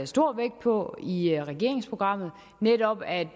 stor vægt på i regeringsprogrammet netop er at